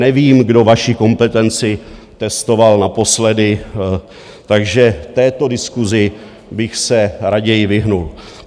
Nevím, kdo vaši kompetenci testoval naposledy, takže této diskusi bych se raději vyhnul.